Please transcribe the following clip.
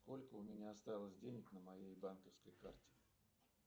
сколько у меня осталось денег на моей банковской карте